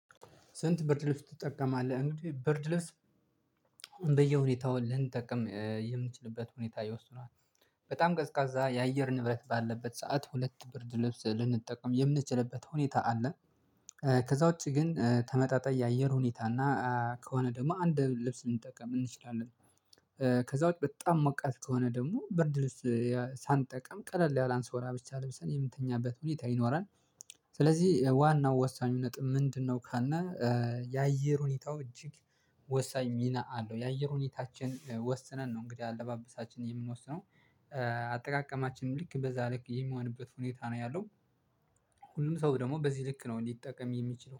ስንት ብርድ ልብስ ትጠቀማለህ? እንግዲህ ብርድ ልብስ አሁን በየሁኔታው ልንጠቀም የምንችልበት ሁኔታ ይወስነዋል። በጣም ቀዝቃዛ የአየር ንብረት ባለበት ሰዓት ሁለት ብርድ ልብስ ልንጠቀም የምንችልበት ሁኔታ አለ። ከዛ ውጪ ግን ተመጣጣኝ የአየር ሁኔታ ከሆነ ደግሞ አንድ ልብስ ልንጠቀም እንችላለን ከዛ ውጪ በጣም ሞቃት ከሆነ ደግሞ ብርድ ልብስ ሳንጠቀም ቀለል ያለ አንሶላ ብቻ ለብሰን የምንተኛበት ሁኔታ ይኖራል። ስለዚህ ዋናው ወሳኙ ነጥብ ምንድነው ካልን የአየር ሁኔታው እጅግ ወሳኝ ሚና አለው የአየር ሁኔታችን ወስነን ነው እንግዲህ አለባበሳችን የምንወስነው። አጠቃቀማችን ልክ በዛ ልክ የሚሆንበት ሁኔታ ነው ያለው ሁሉም ሰው ደግሞ በዚህ ልክ ነው እንዲጠቀም የሚችለው